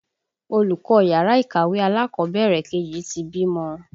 Olùkọ́ yàrá ìkàwé alákọ̀bẹ̀rẹ̀ kejì ti bímọ